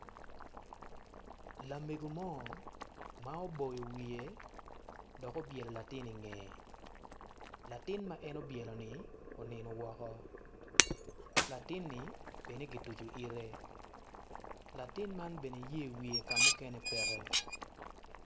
Lamego mo ma oboyo wiye dok obyelo latin ingeye latin ma en obyeloni onino woko latini bene gituco ite latin man bene yer wiye ka mukene peke.